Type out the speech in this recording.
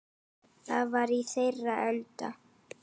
Það var í þeirra anda.